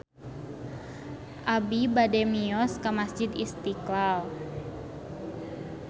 Abi bade mios ka Masjid Istiqlal